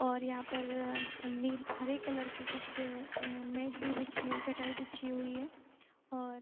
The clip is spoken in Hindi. और यहाँ पर नील हरे कलर की कुछ मेट भी बिछी चटाई बिछी हुई है और --